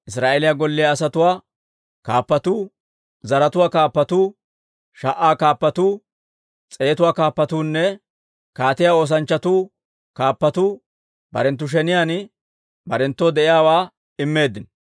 Israa'eeliyaa golliyaa asatuwaa Kaappatuu, zaratuwaa kaappatuu, sha"aa kaappatuu, s'eetuwaa kaappatuunne kaatiyaa oosanchchatuu kaappatuu barenttu sheniyaan barenttoo de'iyaawaa immeeddino.